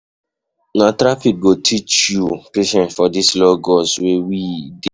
Na traffic go teach you patience for dis Lagos wey we dey.